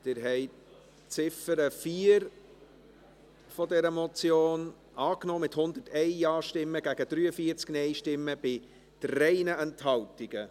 Sie haben die Ziffer 4 dieser Motion angenommen, mit 101 Ja- gegen 43 Nein-Stimmen bei 3 Enthaltungen.